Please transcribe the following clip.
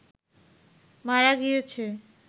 মারা গিয়েছে